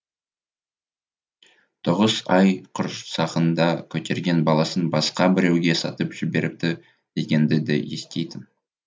тоғыз ай құрсағында көтерген баласын басқа біреуге сатып жіберіпті дегенді де естейтін